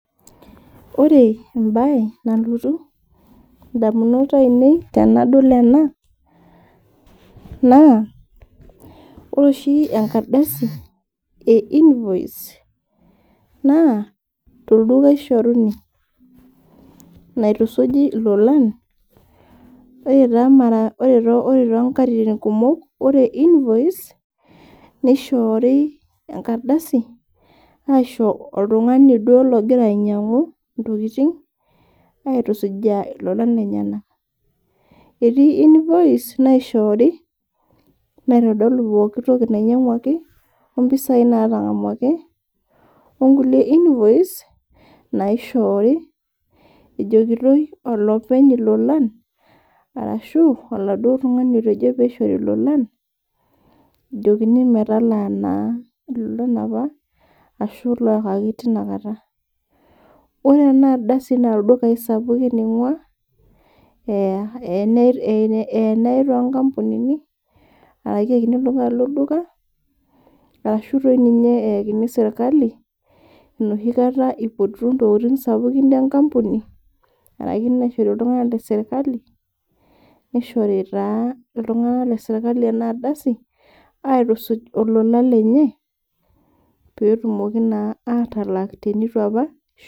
Ore embae nalotu ndamunot ainei tenadol ena naa ,ore oshi enkardasi e invoice naa tolduka eishoruni naitusuji lolan ,ore toonkatitin kumok ore invoice, neishoori enkardasi aisho oltungani duo ogira ainyangu tokiting aitusujaa lolan lenyenak .Etii invoice naishooki naitodolu pookitoki ninyanguaki ompisai naatangamwaki ,onkulie invoice naishooki ejokitoi olopeny ilolan ,orashu oladuo tungani otejo pee eishoru lolan, ejokini naa metalaa lolan apa o ashu loyakaki tinakata .Ore ena ardasi naa ldukai sapukin eingua, eya nayae toonkampunini ,ashu ayae torkiti duka ashu doi ninye eyakini sirkali, enoshi kata aipotu ntokiting sapukin enkampuni orashu naishori oltungani lesirkali .,neishori taa iltunganak lesirkali ena ardasi aitusuj olola lenye pee etumoki naa atalak teneitu apa elak.